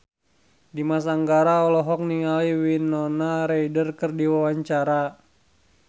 Dimas Anggara olohok ningali Winona Ryder keur diwawancara